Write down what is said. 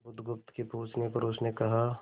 बुधगुप्त के पूछने पर उसने कहा